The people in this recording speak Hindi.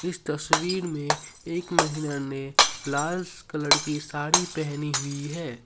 इस तस्वीर में एक महिला ने लाल कलर की साड़ी पहनी हुई है।